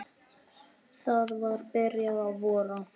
Það var byrjað að vora.